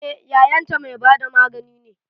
Eh yayan ta mai bada magani ne